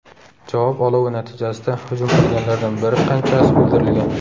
Javob olovi natijasida hujum qilganlardan bir qanchasi o‘ldirilgan.